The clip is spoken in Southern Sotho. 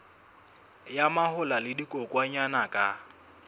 ya mahola le dikokwanyana ka